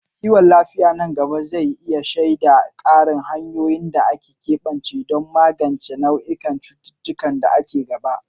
Kiwon lafiya nan gaba zai iya shaida ƙarin hanyoyin da aka keɓance don magance nau'ikan cututtukan da aka gada.